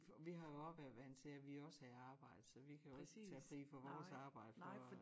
Vi har jo også været vandt til at vi også havde arbejde så vi kan jo ikke tage fri fra vores arbejde for at